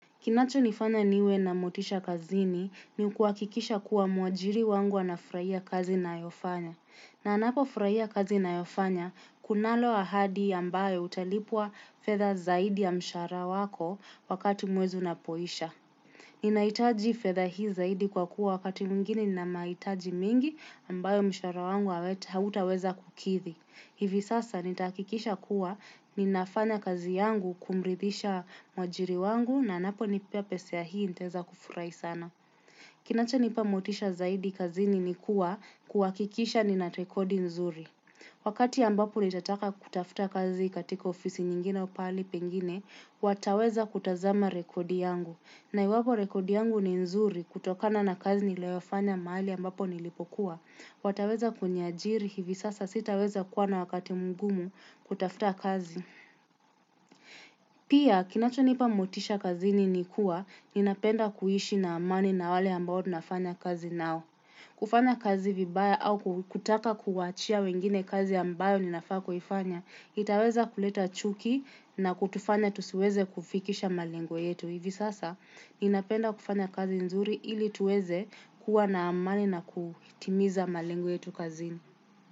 Kinachonifanya niwe na motisha kazini ni kuakikisha kuwa mwajiri wangu anafurahia kazi nayofanya. Na anapofurahia kazi nayofanya, kunalo ahadi ambaye utalipwa fedha zaidi ya mshahara wako wakati mwezi unapoisha. Ninaitaji fedha hii zaidi kwa kuwa wakati mwingine nina mahitaji mingi ambaye mshahara wangu hautaweza kukidhi. Hivi sasa nitahakikisha kuwa ninafanya kazi yangu kumrithisha mwajiri wangu na anaponipea pesa ya hii ntaezafurahi sana. Kinachonipa motisha zaidi kazini ni kuwa kuhakikisha nina rekodi nzuri. Wakati ambapo nitataka kutafuta kazi katika ofisi nyingine pahali pengine, wataweza kutazama rekodi yangu. Na iwapo rekodi yangu ni nzuri kutokana na kazi nilioyafanya mahali ambapo nilipokuwa. Wataweza kuniajiri hivi sasa sitaweza kuwa na wakati mgumu kutafuta kazi. Pia kinachonipa motisha kazini ni kuwa ninapenda kuishi na amani na wale ambayo nafanya kazi nao. Kufanya kazi vibaya au kutaka kuwachia wengine kazi ambayo ninafaa kuifanya. Itaweza kuleta chuki na kutufanya tusiweze kufikisha malengo yetu. Hivi sasa ninapenda kufanya kazi nzuri ili tuweze kuwa na amani na kuitimiza malingo yetu kazini.